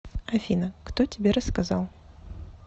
афина кто тебе рассказал